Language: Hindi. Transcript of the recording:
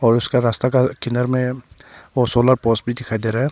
और उसका रास्ता के किनारे में सोलर पोज भी दिखाई दे रहा है।